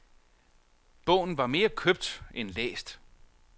Bogen var mere købt end læst.